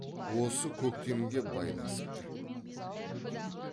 осы көктемге байласыпты